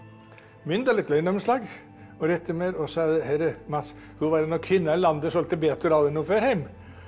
myndarlegt launaumslag og sagði heyrðu Mats þú verður að kynna þér landið svolítið betur áður en þú ferð heim